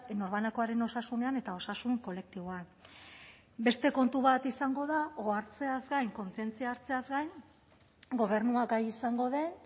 norbanakoaren osasunean eta osasun kolektiboan beste kontu bat izango da ohartzeaz gain kontzientzia hartzeaz gain gobernuak gai izango den